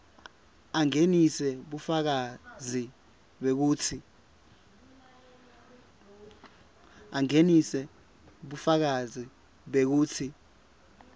angenise bufakazi bekutsi